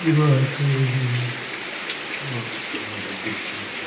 दिवार खड़ी है और उने तो कुर्सी है।